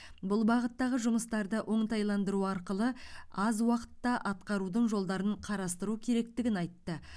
бұл бағыттағы жұмыстарды оңтайландыру арқылы аз уақытта атқарудың жолдарын қарастыру керектігін айтты